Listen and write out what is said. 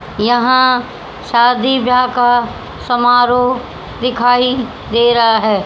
यहां शादी ब्याह का समारोह दिखाई दे रहा है।